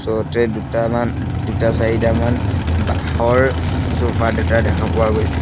দুটামান দু দুটা চাৰিটামান বাঁহৰ চফা দুটা দেখা পোৱা গৈছে।